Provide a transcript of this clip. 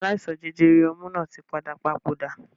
Aláìsàn jẹjẹrẹ ọmú náà tí padà papòdà